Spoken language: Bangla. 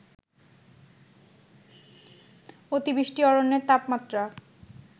অতিবৃষ্টি অরণ্যের তাপমাত্রা